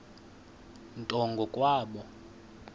nto ngo kwabo